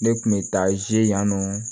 Ne kun bɛ taa ze yan nɔ